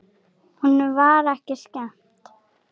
Honum var ekki skemmt.